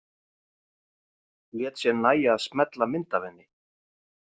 Lét sér nægja að smella mynd af henni.